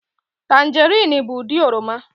Tanjeriin bụ ụdị oroma.